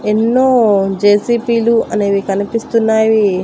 ఎన్నో జె_సి_పి లు అనేవి కనిపిస్తున్నావి.